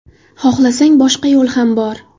Xohlasang, boshqa yo‘l ham bor.